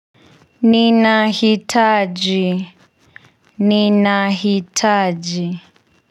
Ninahitaji ninahitaji.